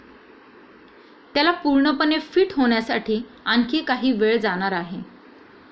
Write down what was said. त्याला पूर्णपणे फिट होण्यासाठी आणखी काही वेळ जाणार आहे.